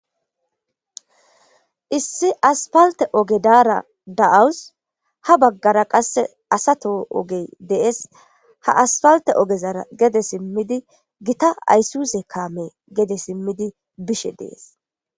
Issi aspalte oge daara da7awus ha baggara qasse asato ogey dees ha aspalte ogezara gede simmidi gita ayssuse kaame gede simmidi bishe dees.